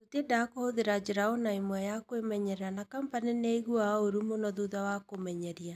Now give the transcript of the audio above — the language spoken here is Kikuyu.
Tũtiendaga kũhũthĩra njĩra o na ĩmwe ya kwĩmenyerera na Kompany nĩ aaiguaga ũũru mũno thutha wa kũmenyeria.